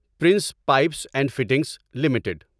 prince Pipes and Fittings limited